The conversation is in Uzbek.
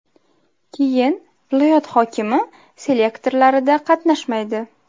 Keyin viloyat hokimi selektorlarida qatnashmaydi.